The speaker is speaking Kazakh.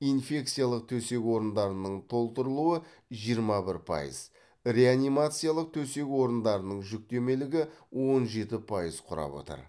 инфекциялық төсек орындарының толтырылуы жиырма бір пайыз реанимациялық төсек орындарының жүктемелігі он жеті пайыз құрап отыр